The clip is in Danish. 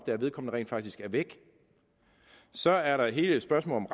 at vedkommende rent faktisk er væk så er der hele spørgsmålet